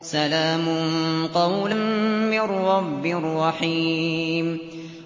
سَلَامٌ قَوْلًا مِّن رَّبٍّ رَّحِيمٍ